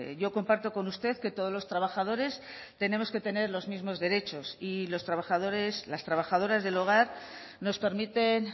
yo comparto con usted que todos los trabajadores tenemos que tener los mismos derechos y los trabajadores las trabajadoras del hogar nos permiten